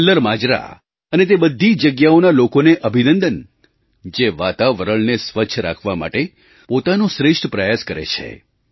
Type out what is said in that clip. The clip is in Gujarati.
કલ્લર માજરા અને તે બધી જગ્યાઓના લોકોને અભિનંદન જે વાતાવરણને સ્વચ્છ રાખવા માટે પોતાનો શ્રેષ્ઠ પ્રયાસ કરે છે